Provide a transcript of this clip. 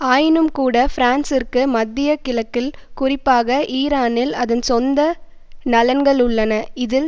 ஆயினும்கூட பிரான்சிற்கு மத்திய கிழக்கில் குறிப்பாக ஈரானில் அதன் சொந்த நலன்கள் உள்ளன இதில்